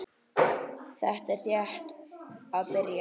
Þetta er rétt að byrja.